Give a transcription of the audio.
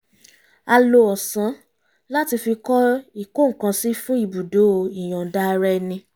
a lo ọ̀sán láti fi kọ́ ìkó-nǹkan-sí fún ibùdó ìyọ̀nda-ara-ẹni